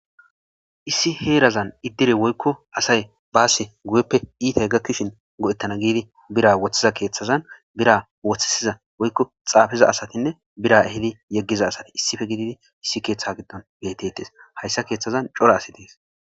issi heerazan iddire woykko asay baasse guyeppe iitay gakkishin godettana giidi bira woththiza keeththazan bira woththisiza woykko xaafiza asatinne bira ehidi yeggiza asati issife gididi issi keeththa giddon beetettes hayssa keeththazan cora asi dees